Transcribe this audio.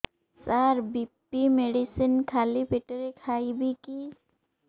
ସାର BP medicine ଖାଲି ପେଟରେ ଖାଇବି କି